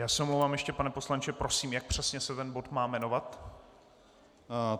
Já se omlouvám, ještě pane poslanče, prosím, jak přesně se ten bod má jmenovat.